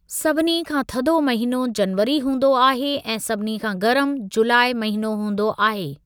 सभिनी खां थधो महिनो जनवरी हूंदो आहे ऐं सभिनी खां गर्म जुलाई महिनो हूंदो आहे।